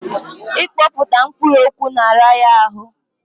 Ị kpọkpụta mkpụrụ okwu na-ara ya ahụ.